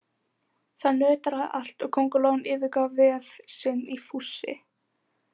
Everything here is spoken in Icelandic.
Það nötraði allt og kóngulóin yfirgaf vef sinn í fússi.